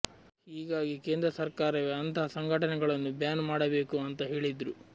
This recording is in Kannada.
ಹೀಗಾಗಿ ಕೇಂದ್ರ ಸರ್ಕಾರವೇ ಅಂತಹ ಸಂಘಟನೆಗಳನ್ನು ಬ್ಯಾನ್ ಮಾಡಬೇಕು ಅಂತ ಹೇಳಿದ್ರು